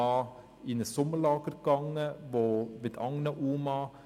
Dann ging dieser junge Mann zusammen mit anderen UMA in ein Sommerlager.